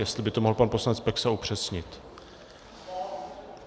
Jestli by to mohl pan poslanec Peksa upřesnit.